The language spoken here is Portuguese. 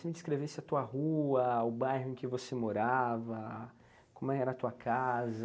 Você me descrevesse a tua rua, o bairro em que você morava, como era a tua casa.